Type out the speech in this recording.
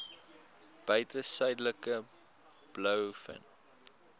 buiten suidelike blouvin